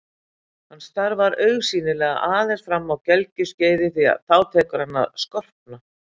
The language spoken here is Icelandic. Hann starfar augsýnilega aðeins fram að gelgjuskeiði því þá tekur hann að skorpna.